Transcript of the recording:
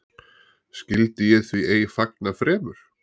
Skyldi ég því ei fagna fremur?